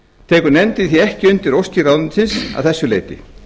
tekur nefndin því ekki undir óskir ráðuneytisins að þessu leyti